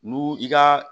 Nu i ka